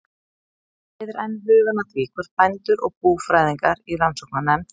Þetta leiðir enn hugann að því, hvort bændur og búfræðingar í rannsóknarnefnd